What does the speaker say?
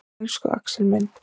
Elsku Axel minn.